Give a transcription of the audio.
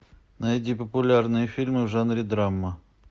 найди популярные фильмы в жанре драма